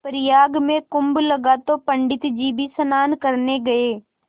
प्रयाग में कुम्भ लगा तो पंडित जी भी स्नान करने गये